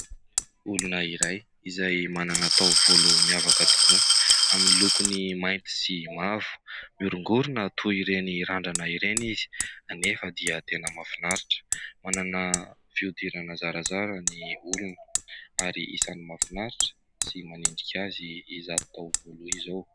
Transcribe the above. Olona iray izay manana taovolo miavaka tokoa amin'ny lokony mainty sy mavo, miorongorona toy ireny randrana ireny izy, hanefa dia tena mahafinaritra ! Manana fiodirana zarazara ny olona ary isany mahafinaritra sy manendrika azy izato taovolo izao.